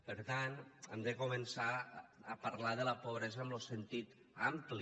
per tant hem de començar a parlar de la pobresa en lo sentit ampli